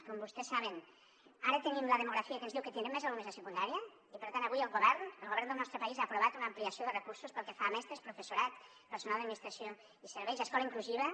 com vostès saben ara tenim una demografia que ens diu que tindrem més alumnes a secundària i per tant avui el govern el govern del nostre país ha aprovat una ampliació de recursos pel que fa a mestres professorat personal d’administració i serveis escola inclusiva